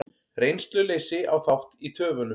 Reynsluleysi á þátt í töfunum